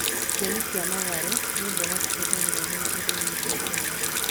Nyeni cia matharũ nĩ mboga cihũthagĩrwo mũno irio-inĩ cia Kenya